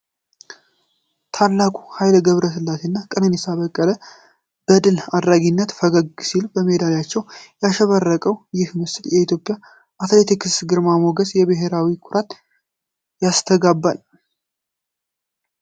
ታላቁ ኃይሌ ገብረሥላሴ እና ቀነኒሳ በቀለ በድል አድራጊነት ፈገግ ሲሉ! በሜዳሊያዎች ያሸበረቀው ይህ ምስል የኢትዮጵያን አትሌቲክስ ግርማ ሞገስና የብሔራዊ ኩራትን ያስተጋባል።